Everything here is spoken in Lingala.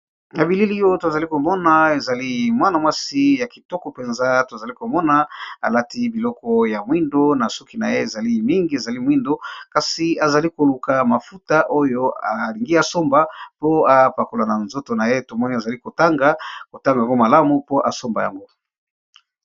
ya bilili oyo tozali komona ezali mwana mwasi ya kitoko mpenza tozali komona alati biloko ya mwindo na soki na ye ezali mingi ezali mwindo kasi azali koluka mafuta oyo alingi asomba po epakola na nzoto na ye tomoni azali kotanga kotanga yango malamu po asomba yango